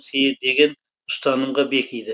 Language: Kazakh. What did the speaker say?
сыйы деген ұстанымға бекиді